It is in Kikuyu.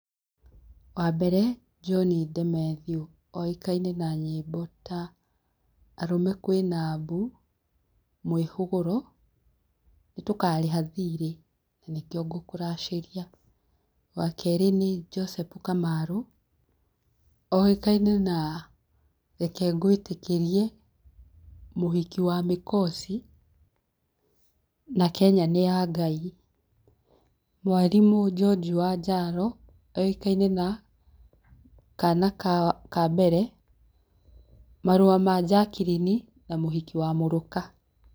Wa mbere John De-Matthew oĩkaine na nyĩmbo ta arũmr kwĩna mbu, mwĩhũgũro, nĩ tũkarĩha thirĩ, nĩkĩo ngũkũracĩria, wa kerĩ nĩ Joseph Kamarũ, oĩkaine na reke ngwĩtĩkĩrie, mũhiki wa mĩkosi na Kenya nĩ ya Ngai, Mwarimũ George Wanjaro, oĩkaine na Kana ka mbere, marũa ma Jackline na mũhiki wa mũrũka.